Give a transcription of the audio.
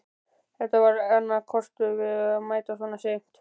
Þetta var annar kostur við að mæta svona seint.